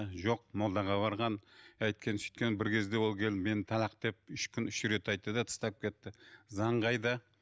жоқ молдаға барған әйткен сүйткен бір кезде ол келіп мені талақ деп үш күн үш рет айтты да тастап кетті заң қайда